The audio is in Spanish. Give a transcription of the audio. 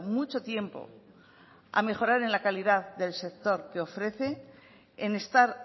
mucho tiempo a mejorar en la calidad del sector que ofrece en estar